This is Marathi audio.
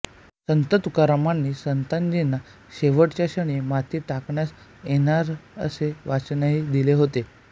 संत तुकारामांनी संताजीना शेवटच्या क्षणी माती टाकण्यास येणार असे वाचनही दिले होते